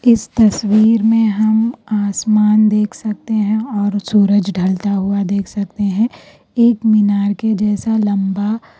اس تصویر میں ہم آسمان دیکھ سکتے ہیں اور سورج ڈھلتا ہوا دیکھ سکتے ہیں۔ ایک مینار کے جیسا لمبا --